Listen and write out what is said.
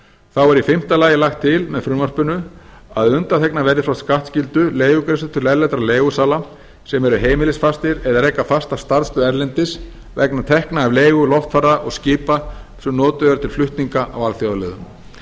þá er í fimmta lagi lagt til með frumvarpinu að undanþegnar verði frá skattskyldu leigugreiðslur til erlendra leigusala sem eru heimilisfastir eða reka fasta starfsstöð erlendis vegna tekna af leigu loftfara og skipa sem notuð eru til flutninga á alþjóðaleiðum